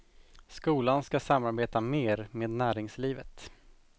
Skolan ska samarbeta mer med näringslivet.